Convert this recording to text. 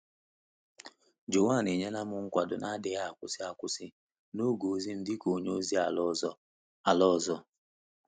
Joan enyela m nkwado na-adịghị akwụsị akwụsị n’oge ozi m dị ka onye ozi ala ọzọ. ala ọzọ.